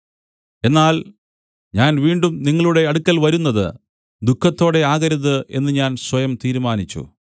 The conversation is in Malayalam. എന്നാൽ ഞാൻ വീണ്ടും നിങ്ങളുടെ അടുക്കൽ വരുന്നത് ദുഃഖത്തോടെ ആകരുത് എന്ന് ഞാൻ സ്വയം തീരുമാനിച്ചു